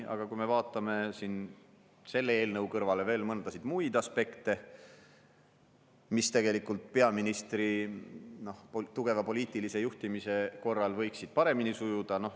Aga vaatame siin selle eelnõu kõrvale veel muid aspekte, mis tegelikult peaministri tugeva poliitilise juhtimise korral võiksid paremini sujuda.